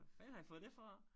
Fanden har i fået det fra?